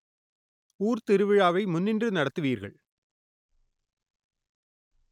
ஊர் திருவிழாவை முன்னின்று நடத்துவீர்கள்